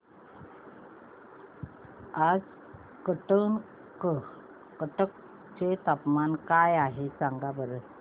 आज कटक चे तापमान काय आहे सांगा बरं